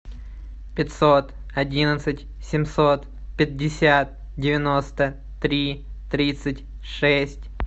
пятьсот одиннадцать семьсот пятьдесят девяносто три тридцать шесть